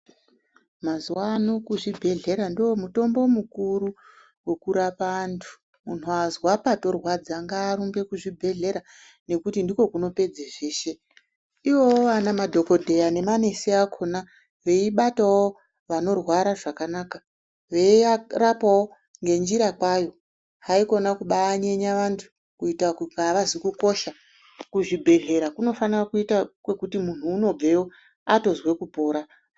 Mazuva ano muzvibhedhlera ndomutombo mukuru wekurapa antu. muntu azwa patorwadza ngaarumbe kuzvibhedhlera nekuti ndiko kunopedze zveshe. Ivowo madhogodheya nemanesi akhona veibatawo vanorwara zvakanaka, veyirapawo ngenjira kwayo, haikhona kubanyenya vantu kuita kunga avazi kukosha. Kuzvibhedhlera kunofana kuita kuti muntu unobveyo otozwe kupora.